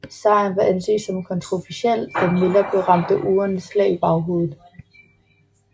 Sejren var anset som kontroversiel da Miller blev ramt af urene slag i baghovedet